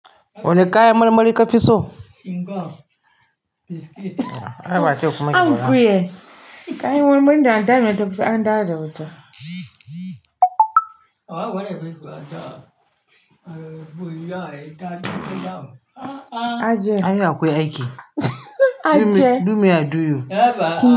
Wani kayan marmari kafi so? Inga. Biscuit. Ana ba ki tukumai An kuje. Kayan nan gagara da fiso an dawo da wuta. Aje hanyaa akwai aiki. Do me I do you.